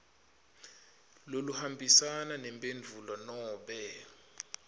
loluhambisana nemphendvulo nobe